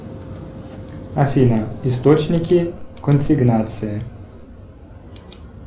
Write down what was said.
афина источники консигнации